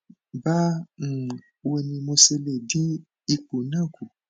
ba um wo ni mo se le din ipo na ku